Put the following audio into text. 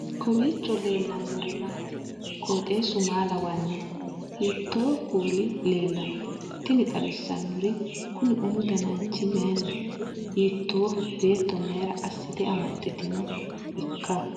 kowiicho leellannori maati ? qooxeessu maa lawaanno ? hiitoo kuuli leellanno ? tini xawissannori kuni umu dananchi mayinniho hiittoho beeto mayra aassite amaxxitanni nooikka